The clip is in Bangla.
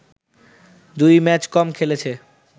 দুই ম্যাচ কম খেলেছে